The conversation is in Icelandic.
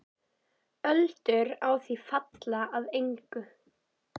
Öldur á því falla að engu.